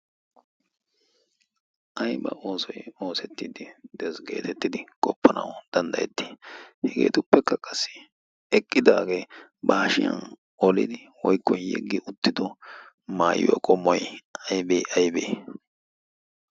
Ayba oosoy oosettiddi de'ees geetettidi goppanawu danddayetti? Hegeetuppekka qassi eqqidaagee ba hashiyan olidi woykko yeggi uttido maayiwaa qommoy aybee aybee?